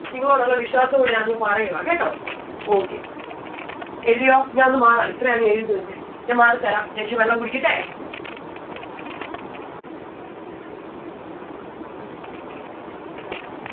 നിങ്ങളോടുള്ള വിശ്വാസം കൊണ്ട് ഞാൻ അത് പറയുവാ കേട്ടോ? okay എഴുതിയോ? ഞാൻ ഒന്ന് മാറാ ഇത്രയും അങ്ങ് എഴുതിത്തീർത്തെ ഞാൻ മാറിത്തരാം ഞാൻ ഇച്ചിരി വെള്ളം കുടിക്കട്ടെ?